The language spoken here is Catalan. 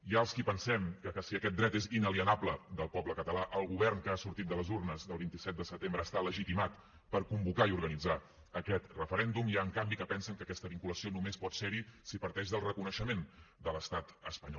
hi ha els qui pensem que si aquest dret és inalienable del poble català el govern que ha sortit de les urnes del vint set de setembre està legitimat per convocar i organitzar aquest referèndum n’hi ha en canvi que pensen que aquesta vinculació només pot ser hi si parteix del reconeixement de l’estat espanyol